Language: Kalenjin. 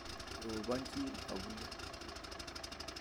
Robochin abule